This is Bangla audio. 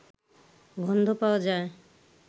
গন্ধ পাওয়া যায়